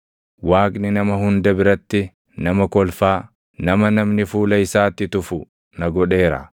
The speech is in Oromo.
“Waaqni nama hunda biratti nama kolfaa, nama namni fuula isaatti tufu na godheera.